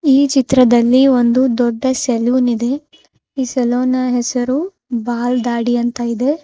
ಈ ಚಿತ್ರದಲ್ಲಿ ಒಂದು ದೊಡ್ಡ ಸಲೂನ್ ಇದೆ ಈ ಸಲೂನ್ ನ ಹೆಸರು ಬಾಲ್ ದಾಡಿ ಅಂತ ಇದೆ.